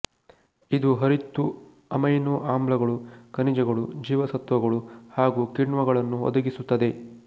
ಇದು ಹರಿತ್ತು ಅಮೈನೋ ಆಮ್ಲಗಳು ಖನಿಜಗಳು ಜೀವಸತ್ವಗಳು ಹಾಗು ಕಿಣ್ವಗಳನ್ನು ಒದಗಿಸುತ್ತದೆ